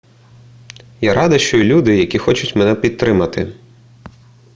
я рада що є люди які хочуть мене підтримати